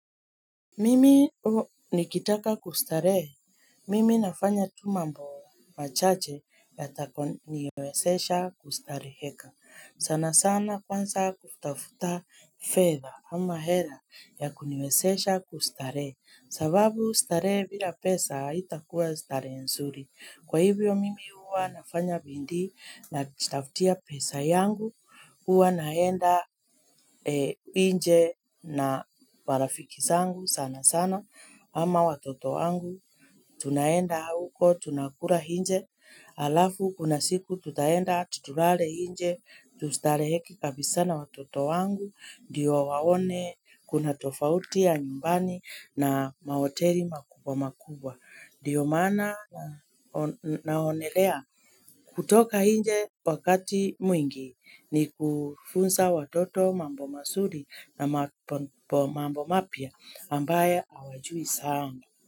Mimi nikitaka kustarehe. Mimi nafanya tu mambo machache yatakayoniwezesha kustareheka. Sana sana kwanza kutafuta fedha ama hela ya kuniwezesha kustarehe. Sababu starehe bila pesa haitakuwa starehe nzuri. Kwa hivyo mimi huwa nafanya bidii najitafutia pesa yangu, huwa naenda nje na marafiki zangu sana sana ama watoto wangu. Tunaenda huko, tunakula nje, alafu kuna siku tutaenda tulale nje, tutustareheke kabisa na watoto wangu, ndiyo waone kuna tofauti ya nyumbani na mahoteli makubwa makubwa. Ndiyo mana naonelea kutoka nje wakati mwingi ni kufunza watoto mambo mazuri na mambo mapya ambayo hawajui sana.